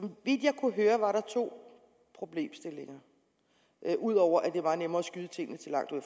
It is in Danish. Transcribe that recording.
vidt jeg kunne høre var der to problemstillinger ud over at det var nemmere at skyde tingene til langt ud